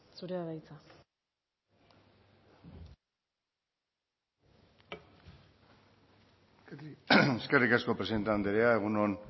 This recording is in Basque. zurea da hitza eskerrik asko presidenta andrea egun on